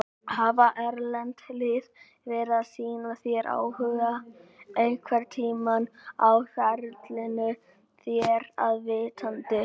Hafa erlend lið verið að sýna þér áhuga einhverntímann á ferlinum þér að vitandi?